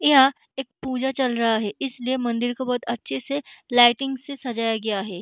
यहाँ एक पूजा चल रहा है इसलिए मंदिर को बहुत अच्छे से लाइटिंग से सजाया गया है।